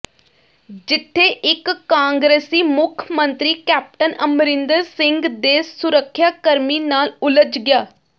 ਜਿਥੇ ਇਕ ਕਾਂਗਰਸੀ ਮੁੱਖ ਮੰਤਰੀ ਕੈਪਟਨ ਅਮਰਿੰਦਰ ਸਿੰਘ ਦੇ ਸੁਰੱਖਿਆ ਕਰਮੀ ਨਾਲ ਉਲਝ ਗਿਆ